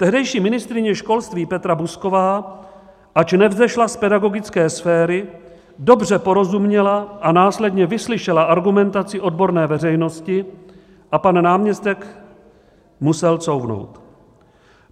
Tehdejší ministryně školství Petra Buzková, ač nevzešla z pedagogické sféry, dobře porozuměla a následně vyslyšela argumentaci odborné veřejnosti a pan náměstek musel couvnout.